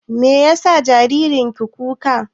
Me ya sa jaririn ki kuka?